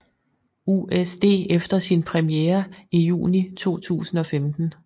USD efter sin premiere i juni 2015